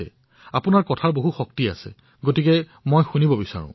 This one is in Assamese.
মই আপোনাৰ পৰা শুনিবলৈ বিচাৰিছো